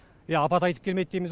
иә апат айтып келмейді дейміз